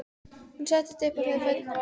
Hún settist upp og hreyfði fæturna varlega.